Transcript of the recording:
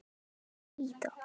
Fallin spýta